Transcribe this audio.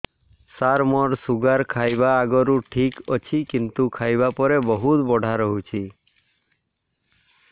ସାର ମୋର ଶୁଗାର ଖାଇବା ଆଗରୁ ଠିକ ଅଛି କିନ୍ତୁ ଖାଇବା ପରେ ବହୁତ ବଢ଼ା ରହୁଛି